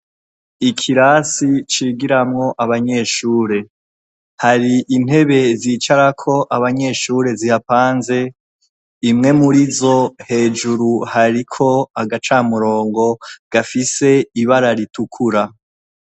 Ikirasi cigiramwo abanyeshure, hari intebe zicarako abanyeshure zihapanze, imwe muri zo hejuru hariko agacamurongo gafise ibara ritukura.